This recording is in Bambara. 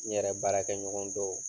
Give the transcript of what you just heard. N yɛrɛ baarakɛɲɔgɔn dɔw